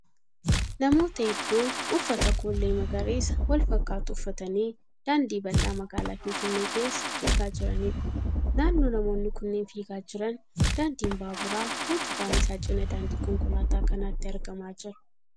Namoota hedduu uffata koollee magariisa wal fakkaatu uffatanii daandii bal'aa magaalaa Finfinnee keessaa keessa fiigaa jiraniidha. Naannoo namoonni kunneen fiigaa jiran daandiin baaburaa utubaan isaa cina daandii konkolaataa kanaatti argamaa jira.